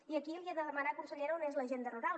i aquí li he de demanar consellera on és l’agenda rural